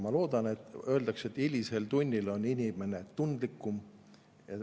Öeldakse, et hilisel tunnil on inimene tundlikum.